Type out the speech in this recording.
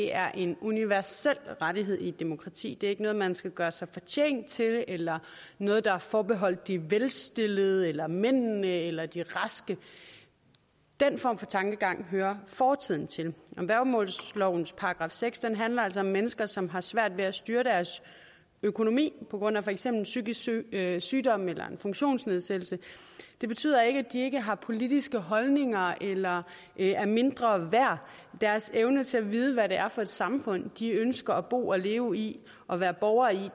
er en universel rettighed i et demokrati det er ikke noget man skal gøre sig fortjent til eller noget der er forbeholdt de velstillede eller mændene eller de raske den form for tankegang hører fortiden til værgemålslovens § seks handler altså om mennesker som har svært ved at styre deres økonomi på grund af for eksempel psykisk sygdom eller sygdom eller en funktionsnedsættelse det betyder ikke at de ikke har politiske holdninger eller er mindre værd og deres evne til at vide hvad det er for samfund de ønsker at bo og leve i og være borger i